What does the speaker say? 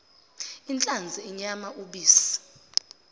inhlanzi inyama ubisi